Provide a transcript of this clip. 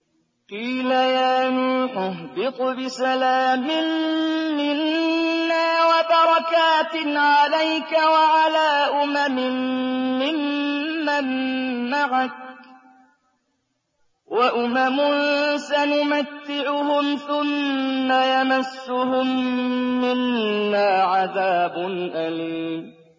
قِيلَ يَا نُوحُ اهْبِطْ بِسَلَامٍ مِّنَّا وَبَرَكَاتٍ عَلَيْكَ وَعَلَىٰ أُمَمٍ مِّمَّن مَّعَكَ ۚ وَأُمَمٌ سَنُمَتِّعُهُمْ ثُمَّ يَمَسُّهُم مِّنَّا عَذَابٌ أَلِيمٌ